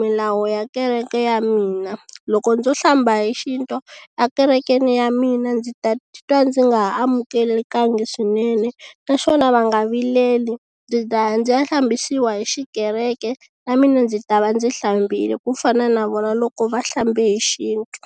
milawu ya kereke ya mina loko ndzo hlamba hi xintu ekerekeni ya mina ndzi ta titwa ndzi nga ha amukelekangi swinene naswona va nga vileli ndzi taya ndzi ya hlambisiwa hi xikereke na mina ndzi ta va ndzi hlambile ku fana na vona loko va hlambe hi xintu.